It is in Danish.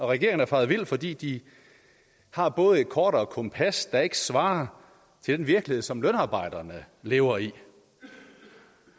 regeringen er faret vild for de de har både et kort og et kompas der ikke svarer til den virkelighed som lønarbejderne lever i